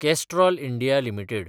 Castrol India limited